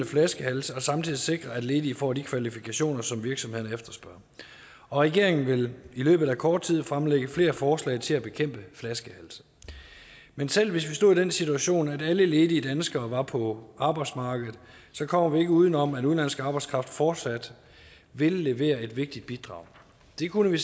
flaskehalse og samtidig sikre at ledige får de kvalifikationer som virksomhederne efterspørger regeringen vil i løbet af kort tid fremlægge flere forslag til at bekæmpe flaskehalse men selv hvis vi stod i den situation at alle ledige danskere var på arbejdsmarkedet så kommer vi ikke uden om at udenlandsk arbejdskraft fortsat vil være et vigtigt bidrag det kunne